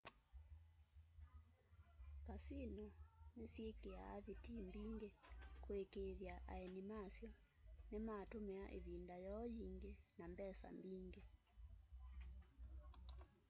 kasino nisyikia vitii mbingi kuikiithya aeni masyo nimatumia ivinda yoo yingi na mbesa mbingi